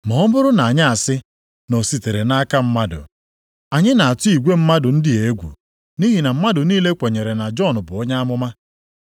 Ma ọ bụrụ na anyị asị, ‘Na o sitere nʼaka mmadụ,’ anyị na-atụ igwe mmadụ ndị a egwu, nʼihi na mmadụ niile kwenyere na Jọn bụ onye amụma.”